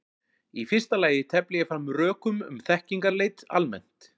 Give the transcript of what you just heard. Í fyrsta lagi tefli ég fram rökum um þekkingarleit almennt.